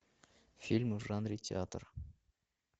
фильмы в жанре театр